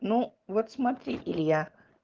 ну вот смотри илья